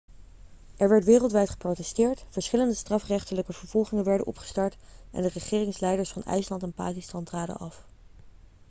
er werd wereldwijd geprotesteerd verschillende strafrechtelijke vervolgingen werden opgestart en de regeringsleiders van ijsland en pakistan traden af